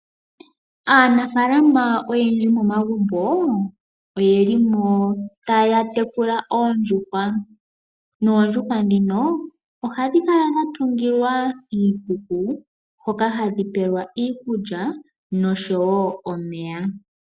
Aanafalama oyendji momagumbo oye li mo taya tekula oondjuhwa. Noondjuhwa dhino oha dhi kala dha tugilwa iikuku hoka hadhi pelwa iikulya nosho wo omeya.